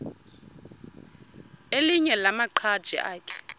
elinye lamaqhaji akhe